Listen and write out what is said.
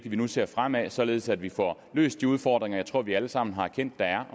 at vi nu ser fremad således at vi får løst de udfordringer jeg tror vi alle sammen har erkendt der er